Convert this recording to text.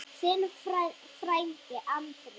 Þinn frændi Andri.